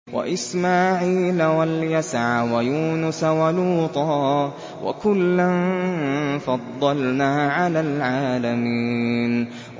وَإِسْمَاعِيلَ وَالْيَسَعَ وَيُونُسَ وَلُوطًا ۚ وَكُلًّا فَضَّلْنَا عَلَى الْعَالَمِينَ